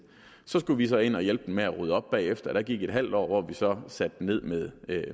så skulle vi så ind og hjælpe dem med at rydde op bagefter og der gik et halvt år hvor vi så satte den ned med